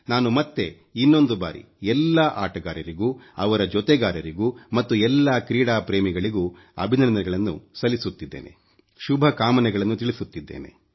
ನಾನು ಮತ್ತೆ ಇನ್ನೊಂದು ಬಾರಿ ಎಲ್ಲಾ ಆಟಗಾರರಿಗೂ ಅವರ ಜೊತೆಗಾರರಿಗೂ ಮತ್ತು ಎಲ್ಲಾ ಕ್ರೀಡಾ ಪ್ರೇಮಿಗಳಿಗೂ ಅಭಿನಂದನೆಗಳನ್ನು ಸಲ್ಲಿಸುತ್ತಿದ್ದೇನೆ ಶುಭಕಾಮನೆಗಳನ್ನು ತಿಳಿಸುತ್ತಿದ್ದೇನೆ